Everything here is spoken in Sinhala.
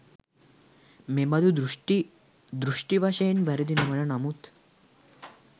මෙබඳු දෘෂ්ටි, දෘෂ්ටි වශයෙන් වැරදි නොවන නමුත්